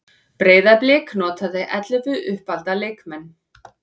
Breiðablik notaði ellefu uppalda leikmenn